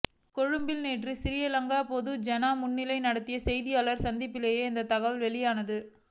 கொழும்பில் நேற்று சிறிலங்கா பொதுஜன முன்னணி நடத்திய செய்தியாளர் சந்திப்பிலேயே இந்த தகவல் வெளியானது